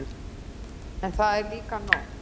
En það er líka nóg.